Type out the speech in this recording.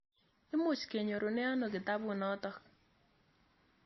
Imuch kenyorune ano kitaput notok?